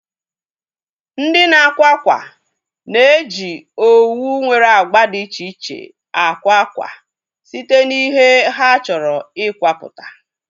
Ndị na-akwa ákwà na-eji owu nwere agba dị iche iche akwa akwa site na ihe ha chọrọ ikwaputa